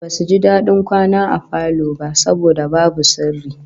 Basu ji dadin kwana a falo ba saboda babu sirri